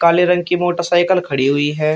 काले रंग की मोटरसाइकल खड़ी हुई है।